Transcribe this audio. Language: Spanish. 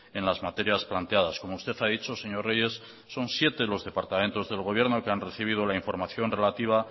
en las materias planteadas como usted ha dicho señor reyes son siete los departamentos del gobierno que han recibido la información relativa